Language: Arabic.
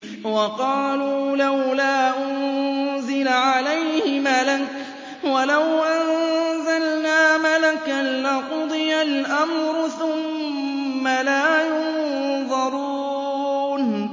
وَقَالُوا لَوْلَا أُنزِلَ عَلَيْهِ مَلَكٌ ۖ وَلَوْ أَنزَلْنَا مَلَكًا لَّقُضِيَ الْأَمْرُ ثُمَّ لَا يُنظَرُونَ